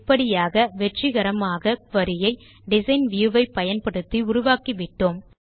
இப்படியாக வெற்றிகரமாக குரி ஐ டிசைன் வியூ ஐ பயன்படுத்தி உருவாக்கிவிட்டோம்